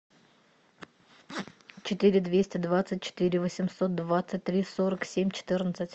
четыре двести двадцать четыре восемьсот двадцать три сорок семь четырнадцать